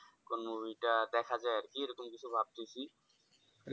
কোন movie টা দেখা যায় আর কি এরকম কিছু ভাবতেছি